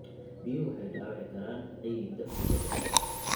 Biyuhu waxay dhaawici karaan ciidda muddo dheer.